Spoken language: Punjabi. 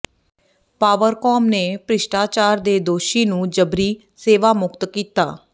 ਪਾਵਰਕੌਮ ਨੇ ਭ੍ਰਿਸ਼ਟਾਚਾਰ ਦੇ ਦੋਸ਼ੀ ਨੂੰ ਜਬਰੀ ਸੇਵਾਮੁਕਤ ਕੀਤਾ